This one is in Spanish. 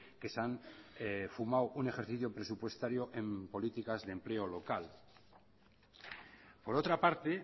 que se han fumado un ejercicio presupuestario en políticas de empleo local por otra parte